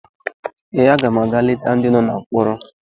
Ee, aga m aga leta ndị nọ na mkpọrọ